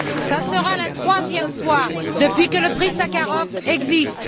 Ce sera la troisième fois depuis que le Prix Sakharov existe.